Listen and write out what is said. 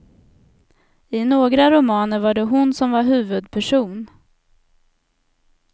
I några romaner var det hon som var huvudperson.